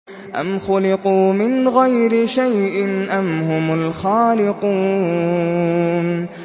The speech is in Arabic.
أَمْ خُلِقُوا مِنْ غَيْرِ شَيْءٍ أَمْ هُمُ الْخَالِقُونَ